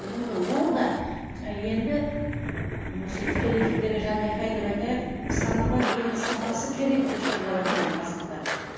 көрдіңіз бе ол да енді осы тікелей эфирдегі жан айқай деп айтайық саны бар енді сапасы керек деп шырылдаватқан қазақтар